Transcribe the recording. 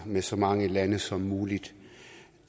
med så mange lande som muligt